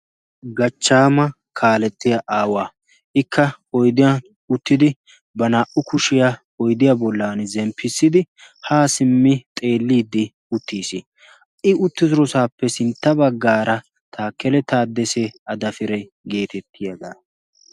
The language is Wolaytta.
Gaachchaama kaalletiyaa aawaa. ikka oyddiyaan uttidi ba naa"u kuushiyaa oyddiyaa bollan zemppisidi haa siimmi xeellidi uttiis. i uttidoosappe sintta baggaara takele taaddesee adaapiree geettetiyaagaa.